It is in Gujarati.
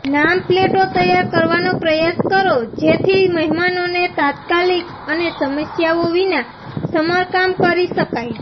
નામ પ્લેટો તૈયાર કરવાનો પ્રયાસ કરો જેથી મહેમાનોને તાત્કાલિક અને સમસ્યાઓ વિના સમારકામ કરી શકાય